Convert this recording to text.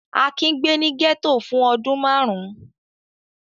Akin gbé ní gẹ́tò fún ọdún márùn-ún.